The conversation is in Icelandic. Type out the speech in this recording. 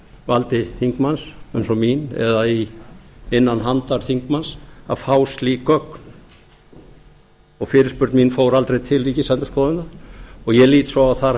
valdi þingmanns eins og mín eða innan handar þingmanns að fá slík gögn og fyrirspurn mín fór aldrei til ríkisendurskoðunar ég lít svo á að þar